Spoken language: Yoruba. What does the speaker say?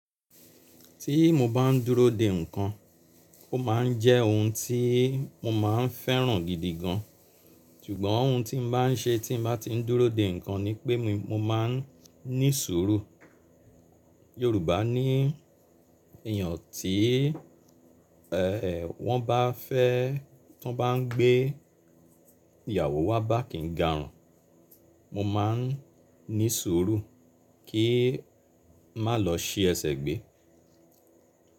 Tí mo bá ń dúró de ǹkan, ó máa ń jẹ́ ohun tí mo máa ń fẹ́ràn gidi gan. Ṣùgbọ́n ohun tí mo bá ń ṣe tí mo bá ti ń dúró de ǹkan ni pé mo máa ń ní sùúrù. Yorùbá ní èèyàn tí wọ́n bá fẹ́, ti wọ́n bá ń gbé ìyàwó wá bá kì ń garùn, mo máa ń ní sùúrù kí n má lọ ṣi ẹsẹ̀ gbé.